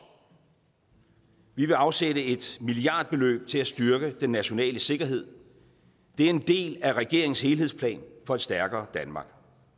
vi vil afsætte et milliardbeløb til at styrke den nationale sikkerhed det er en del af regeringens helhedsplan for et stærkere danmark